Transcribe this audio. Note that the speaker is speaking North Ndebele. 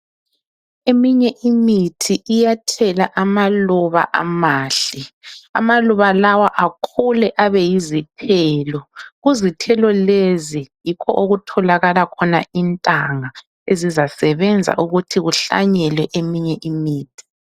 Eminye imithi iyathela amaluba amahle, amaluba lawa akhule abe yizithelo, kuzithelo lezo yikho okutholakala khona intanga ezizasebenza ukuthi kuhlanyelwe eminye imithi.